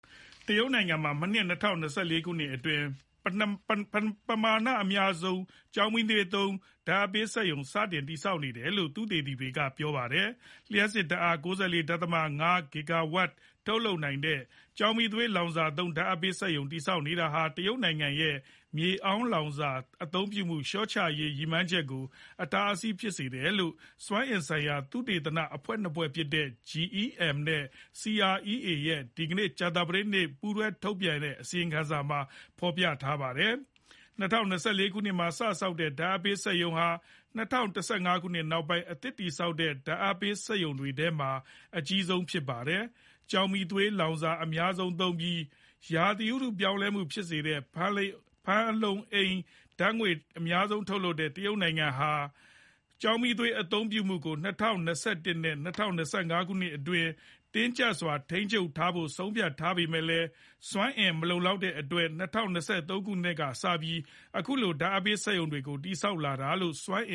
တရုတ်နိုင်ငံမှာ ၂၀၂၄ ခုနှစ်အတွင်း ပမာဏအများဆုံး ကျောက်မီးသွေးသုံး ဓာတ်အားပေးစက်ရုံ စတင်တည်ဆောက်နေတယ်လို့ သုတေသီတွေက ပြောလိုက်ပါတယ်။ လျှပ်စစ်ဓာတ်အား ၉၄.၅ ဂစ်ဂါဝမ် ထုတ်လုပ်နိုင်မယ့် ကျောက်မီးသွေးလောင်စာသုံး ဓာတ်အားပေး စက်ရုံတည်ဆောက်နေတာဟာ တရုတ်ရဲ့ မြေအောင်းလောင်စာအသုံးပြုမှု လျှော့ချရေးရည်မှန်းချက်ကို အတားအဆီးဖြစ်စေတယ်လို့ စွမ်းအင်ဆိုင်ရာသုတေသနအဖွဲ့နှစ်ဖွဲ့ဖြစ်တဲ့ GEM နဲ့ CREA ရဲ့ ဒီကနေ့ ကြာသပတေးနေ့မှာ ထုတ်ပြန်တဲ့ပူးတွဲအစီရင်ခံစာထဲမှာဖေါ်ပြထားပါတယ်။ ၂၀၂၄ မှာ စဆောက်နေတဲ့ ဓါတ်အားပေးစက်ရုံဟာ ၂၀၁၅ ခုနှစ်နောက်ပိုင်း အသစ်တည်ဆောက်တဲ့ ဓာတ်အားပေးစက်ရုံတွေထဲမှာအကြီးဆုံးဖြစ်ပါတယ်။ ကျောက်မီးသွေးလောင်စာအများဆုံးသုံးပြီး ရာသီဥတုပြောင်းလဲမှုကို ဖြစ်ပေါ်စေတဲ့ ဖန်လုံအိမ်ဓာတ်ငွေ့အများဆုံးထုတ်တဲ့ တရုတ်ဟာ ကျောက်မီးသွေးအသုံးပြုမှုကို ၂၀၂၁ ခုနှစ်နဲ့ ၂၀၂၅ ခုနှစ်အတွင်း တင်းကြပ်စွာထိန်းချုပ်ထားဖို့ ဆုံးဖြတ်ထားပေမယ့်လည်း စွမ်းအင်မလုံလောက်တဲ့အတွက် ၂၀၂၃ ခုနှစ်ကစပြီး ခုလို ဓါတ်အားပေး စက်ရုံတွေကို တည်ဆောက်လာတာြဖစ်တယ်လို့ စွမ်းအ